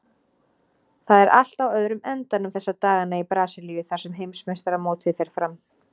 Það er allt á öðrum endanum þessa dagana í Brasilíu þar sem heimsmeistaramótið fer fram.